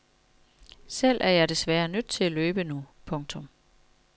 Selv er jeg desværre nødt til at løbe nu. punktum